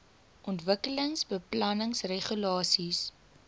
ontwikkelingsbeplanningregulasies